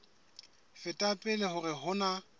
feta pele hore ho na